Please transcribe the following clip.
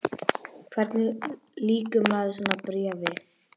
En hvernig lýkur maður svona bréfi?